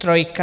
Trojka.